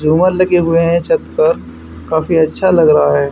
झूमर लगे हुए हैं छत पर काफी अच्छा लग रहा है।